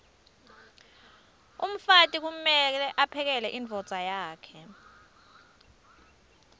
umfati kumeke aphekele imdvodza yakhe